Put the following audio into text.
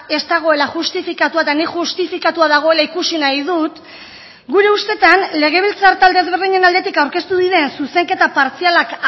ez dagoela justifikatua eta nik justifikatua dagoela ikusi nahi dut gure ustetan legebiltzar talde ezberdinen aldetik aurkeztu diren zuzenketa partzialak